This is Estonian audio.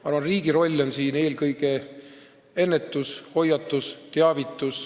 Ma arvan, et riigi roll on siin eelkõige ennetus, hoiatus, teavitus.